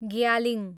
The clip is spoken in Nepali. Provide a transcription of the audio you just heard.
ग्यालिङ